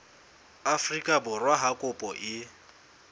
afrika borwa ha kopo e